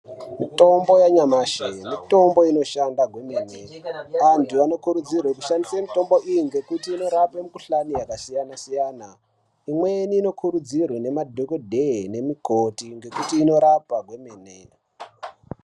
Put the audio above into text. Mitombo yanyamashi, mitombo inoshanda kwemene, anduu anokurudzirwe kushandise mitombo iyi ngekuti inorape mikhuhlani yakasiyana siyana, mweni inokurudzirwe nemadhokodheya nemikoti nokuti inorapa kwemene.